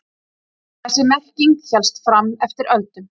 Þessi merking hélst fram eftir öldum.